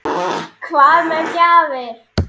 Hvað með gjafir?